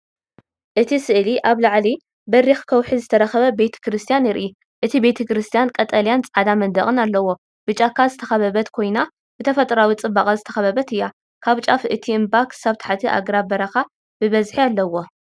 እቲ ስእሊ ኣብ ልዕሊ በሪኽ ከውሒ ዝርከብ ቤተ ክርስቲያን የርኢ። እቲ ቤተክርስትያን ቀጠልያን ጻዕዳ መናድቕን ኣለዎ። ብጫካ ዝተኸበበት ኮይና ብተፈጥሮኣዊ ጽባቐ ዝተኸበበት እያ። ካብ ጫፍ እቲ እምባ ክሳብ ታሕቲ ኣግራብ በረኻ ብብዝሒ ኣለዎ።